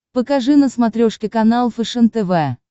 покажи на смотрешке канал фэшен тв